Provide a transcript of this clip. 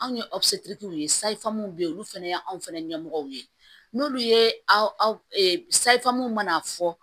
Anw ye ye be yen olu fɛnɛ ye anw fɛnɛ ɲɛmɔgɔw ye n'olu ye sayifu mana fɔ